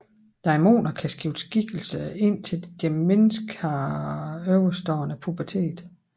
Daimoner kan skifte skikkelse indtil deres menneske har overstået puberteten